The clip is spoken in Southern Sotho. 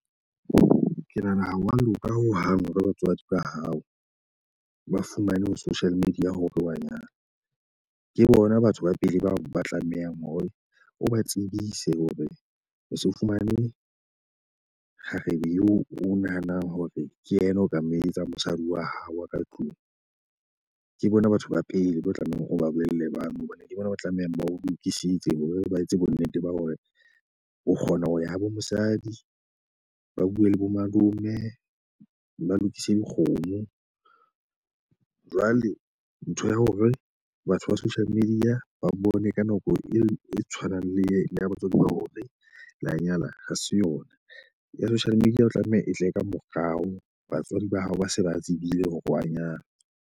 Ke nahana ha wa loka hohang hore batswadi ba hao ba fumane ho social media hore wa nyalwa . Ke bona batho ba pele bao ba tlameha hore o ba tsebise hore o se o fumane kgarebe e o nahanang hore ke yena o ka moetsang mosadi wa hao wa ka tlung. Ke bona batho ba pele bo tlamehang o ba bolelle batho hobane di bona ba tlamehang ba o lokisitse hore ba etse bo nnete ba hore o kgona ho ya habo mosadi. Ba bue le bomalome, ba lokise dikgomo. Jwale ntho ya hore batho ba social media ba bone ka nako eo e tshwanang le le ya batswadi ba hore la nyala ha se yona. Ya social media e tlameha e tle e ka morao batswadi ba hao ba se ba tsebile hore wa nyala .